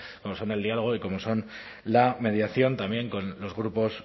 como son el diálogo y como son la mediación también con los grupos